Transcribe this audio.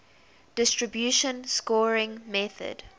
distribution scoring method